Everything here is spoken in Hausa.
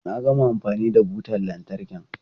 Na gama amfani da butan lantarkin.